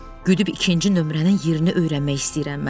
Güdüb ikinci nömrənin yerini öyrənmək istəyirəm mən.